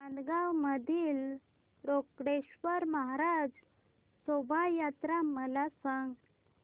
नांदगाव मधील रोकडेश्वर महाराज शोभा यात्रा मला सांग